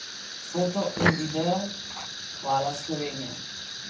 Foto in video: 'Hvala, Slovenija.